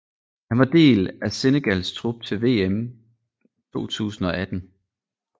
Han var del af Senegals trup til VM 2018